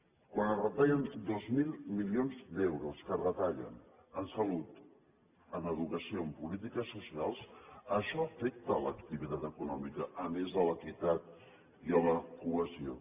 quan es retallen dos mil milions d’euros que es retallen en salut en educació i en polítiques socials això afecta l’activitat econòmica a més de l’equitat i la cohesió